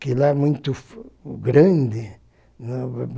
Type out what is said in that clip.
que lá é muito grande.